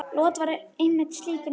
Lot var einmitt slíkur maður.